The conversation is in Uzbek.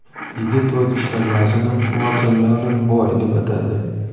Yigit o‘z ishlanmasini Watermelon Boy deb atadi.